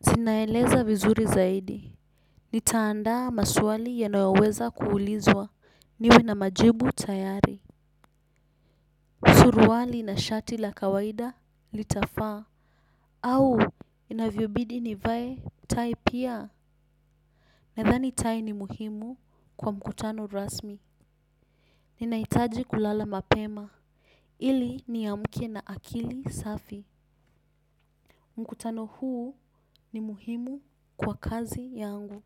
zinaeleza vizuri zaidi. Nitaandaa maswali yanayoweza kuulizwa niwe na majibu tayari suruali na shati la kawaida litafaa. Au, inavyobidi nivae, tai pia nadhani tai ni muhimu kwa mkutano rasmi. Ninahitaji kulala mapema ili niamke na akili safi. Mkutano huu ni muhimu kwa kazi yangu.